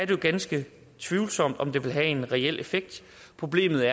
jo ganske tvivlsomt om det vil have en reel effekt problemet